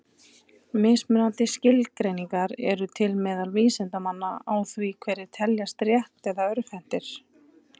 Mismunandi skilgreiningar eru til meðal vísindamanna á því hverjir teljist rétt- eða örvhentir.